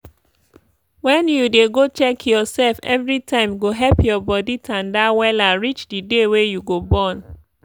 wen u dey go check your sef evri time go help your your body tanda wella reach d day wey you go born.